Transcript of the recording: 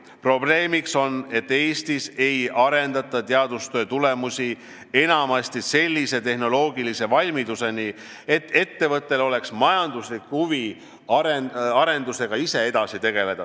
Probleemiks on, et Eestis ei arendata teadustöö tulemusi enamasti sellise tehnoloogilise valmiduseni, et ettevõttel oleks majanduslik huvi arendusega ise edasi tegeleda.